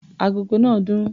Agogo náà dún.